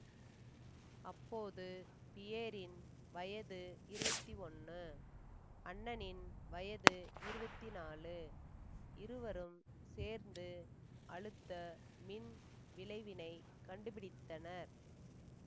அப்போது பியேரின் வயது இருவத்தி ஒன்னு அண்ணனின் வயது இருவத்தி நாழு இருவரும் சேர்ந்து அழுத்த மின் விளைவினைக் கண்டுபிடித்தனர்